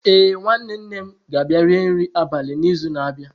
Ee, nwanne nne m ga-abịa rie nri abalị n'izu na-abịa.